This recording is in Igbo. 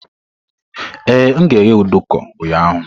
Ee, m ga-eghe nduku ụnyahụ.